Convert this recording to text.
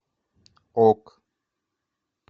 ок